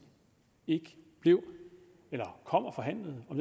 ikke kom og forhandlede om